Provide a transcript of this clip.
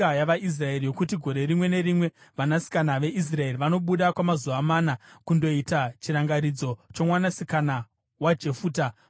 yokuti gore rimwe nerimwe, vanasikana veIsraeri vanobuda kwamazuva mana kundoita chirangaridzo chomwanasikana waJefuta muGireadhi.